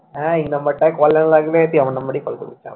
হ্যাঁ এই number টায় call না লাগলে তুই আমার number টায় call করিস তাহলে